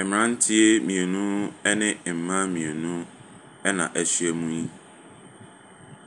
Mmranteɛ mmienu, ne mmaa mmienu na ahyiam yi.